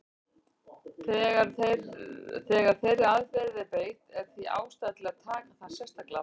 Þegar þeirri aðferð er beitt er því ástæða til að taka það sérstaklega fram.